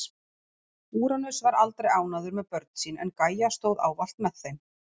Úranus var aldrei ánægður með börn sín en Gæja stóð ávallt með þeim.